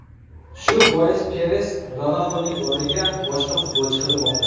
Shu bois Peres Ronalduning o‘rniga boshqa futbolchi qidirmoqda.